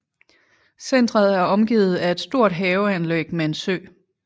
Centret er omgivet af et stort haveanlæg med en sø